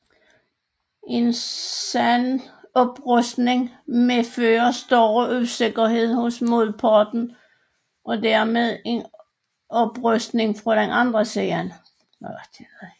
En sådan oprustning medfører større usikkerhed hos modparten og dermed en oprustning fra den anden side